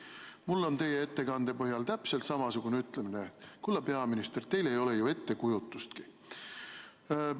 Ma tahan teie ettekande peale täpselt samamoodi öelda: kulla peaminister, teil ei ole ju ettekujutustki!